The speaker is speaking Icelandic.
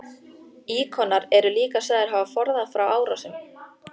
Íkonar eru líka sagðir hafa forðað frá árásum.